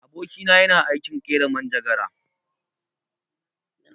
Aboki na yana aikin ƙera manjagara.